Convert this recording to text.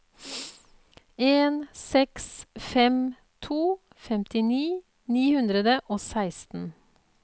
en seks fem to femtini ni hundre og seksten